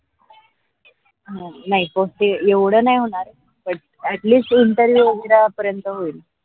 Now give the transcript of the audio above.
हा नाही पण येवड नाही होणार but at least होईल